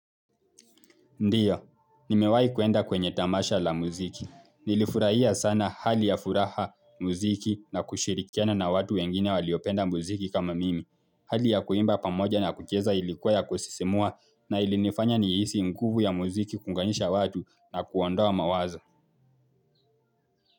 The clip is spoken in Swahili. Ndiyo, nimewai kuenda kwenye tamasha la muziki. Nilifurahia sana hali ya furaha muziki na kushirikiana na watu wengine waliopenda muziki kama mimi. Hali ya kuimba pamoja na kucheza ilikuwa ya kusisimua na ilinifanya ni hisi nguvu ya muziki kuunganisha watu na kuondoa mawazo.